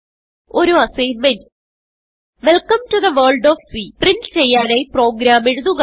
ഒരു assignment welcome to the world of C print ചെയ്യാനായി program എഴുതുക